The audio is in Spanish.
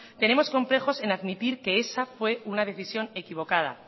tenemos complejos en admitir que esa fue una decisión equivocada